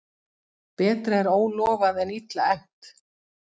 Betra er ólofað en illa efnt.